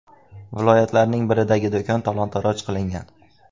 Viloyatlarning biridagi do‘kon talon-taroj qilingan.